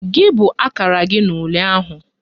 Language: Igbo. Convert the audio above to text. Gị bụ akara gị na ule ahụ?